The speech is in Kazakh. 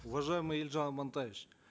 уважаемый елжан амантаевич